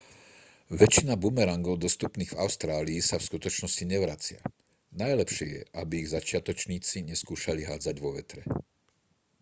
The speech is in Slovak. väčšina bumerangov dostupných v austrálii sa v skutočnosti nevracia najlepšie je aby ich začiatočníci neskúšali hádzať vo vetre